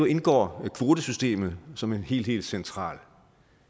indgår kvotesystemet som en helt helt central